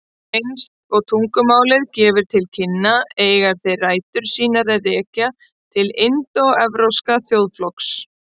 Eins og tungumálið gefur til kynna eiga þeir rætur sínar að rekja til indóevrópsks þjóðflokks.